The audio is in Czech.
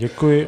Děkuji.